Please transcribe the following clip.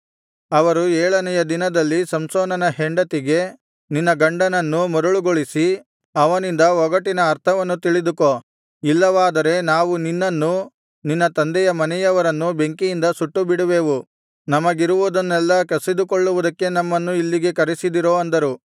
ಅವರು ಏಳನೆಯ ದಿನದಲ್ಲಿ ಸಂಸೋನನ ಹೆಂಡತಿಗೆ ನಿನ್ನ ಗಂಡನನ್ನು ಮರುಳುಗೊಳಿಸಿ ಅವನಿಂದ ಒಗಟಿನ ಅರ್ಥವನ್ನು ತಿಳಿದುಕೋ ಇಲ್ಲವಾದರೆ ನಾವು ನಿನ್ನನ್ನೂ ನಿನ್ನ ತಂದೆಯ ಮನೆಯವರನ್ನೂ ಬೆಂಕಿಯಿಂದ ಸುಟ್ಟುಬಿಡುವೆವು ನಮಗಿರುವುದೆಲ್ಲವನ್ನೂ ಕಸಿದುಕೊಳ್ಳುವುದಕ್ಕೆ ನಮ್ಮನ್ನು ಇಲ್ಲಿಗೆ ಕರೆಸಿದಿರೋ ಅಂದರು